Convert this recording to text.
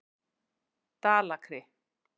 Dalakri